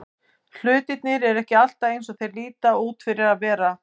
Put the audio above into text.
Hlutirnir eru ekki alltaf eins og þeir líta út fyrir að vera.